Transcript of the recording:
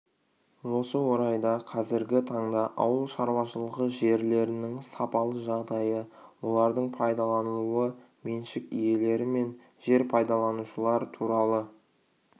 осы орайда қазіргі таңда ауыл шаруашылығы жерлерінің сапалы жағдайы олардыңпайдаланылуы меншік иелелері мен жер пайдаланушылар туралы